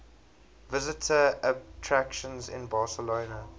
visitor attractions in barcelona